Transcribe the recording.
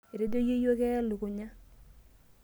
Etejo yeyio keya elukunya.